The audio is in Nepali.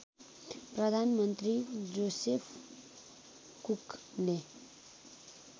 प्रधानमन्त्री जोसेफ कुकले